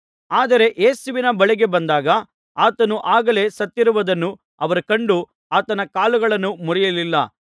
ಆದರೆ ಯೇಸುವಿನ ಬಳಿಗೆ ಬಂದಾಗ ಆತನು ಆಗಲೇ ಸತ್ತಿರುವುದನ್ನು ಅವರು ಕಂಡು ಆತನ ಕಾಲುಗಳನ್ನು ಮುರಿಯಲಿಲ್ಲ